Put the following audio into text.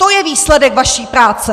To je výsledek vaší práce!